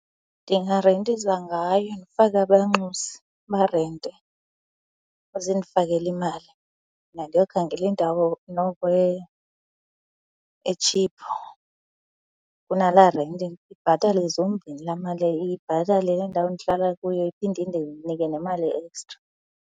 Ndingarentisa ngayo ndifake abanxusi barente bazondifakela imali. Mna ndiyokhangela indawo noko etshiphu kunalaa renti. Ibhatale zombini laa mali. Ibhatale le ndawo ndihlala kuyo iphinde indinike nemali e-extra.